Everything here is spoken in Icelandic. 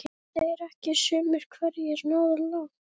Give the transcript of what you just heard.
Hafa þeir ekki sumir hverjir náð langt?